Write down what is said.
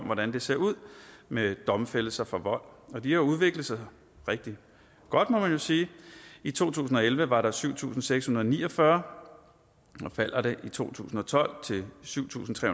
hvordan det ser ud med domfældelser for vold og de har udviklet sig rigtig godt må man jo sige i to tusind og elleve var der syv tusind seks hundrede og ni og fyrre i to tusind og tolv til syv tusind tre